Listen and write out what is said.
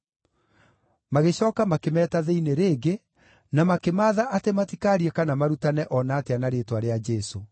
Magĩcooka makĩmeeta thĩinĩ rĩngĩ na makĩmaatha atĩ matikaarie kana marutane o na atĩa na rĩĩtwa rĩa Jesũ.